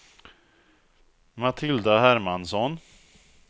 Matilda Hermansson